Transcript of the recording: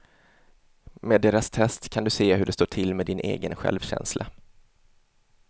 Med deras test kan du se hur det står till med din egen självkänsla.